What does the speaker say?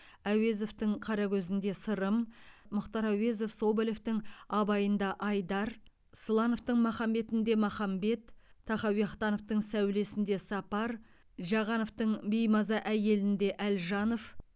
әуезовтың қарагөз інде сырым мұхтар әуезов соболевтің абай ында айдар слановтың махамбет інде махамбет тахауи ахтановтың сәуле сінде сапар жағановтың беймаза әйел інде әлжанов